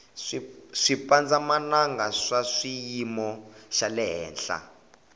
swipandza mananga swa swiyimu xalehenhla